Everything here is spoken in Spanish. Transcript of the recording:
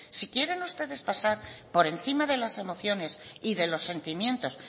si quieren ustedes pasar por encima de las emociones y de los sentimientos